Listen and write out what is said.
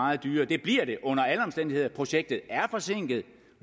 meget dyrere det bliver det under alle omstændigheder projektet er forsinket og